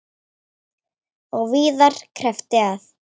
Og víðar kreppti að.